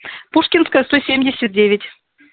пушкинская сто семьдесят девять